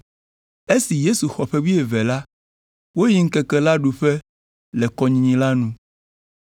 Esi Yesu xɔ ƒe wuieve la, woyi ŋkeke la ɖuƒe le kɔnyinyi la nu.